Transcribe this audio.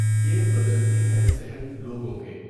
یہ بدلتی ہے ذہن لوگوں کے۔